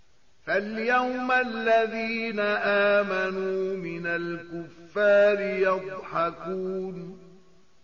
فَالْيَوْمَ الَّذِينَ آمَنُوا مِنَ الْكُفَّارِ يَضْحَكُونَ